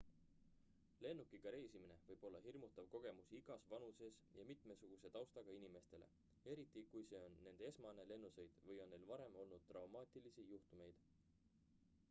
lennukiga reisimine võib olla hirmutav kogemus igas vanuses ja mitmesuguse taustaga inimestele eriti kui see on nende esmane lennusõit või on neil varem olnud traumaatilisi juhtumeid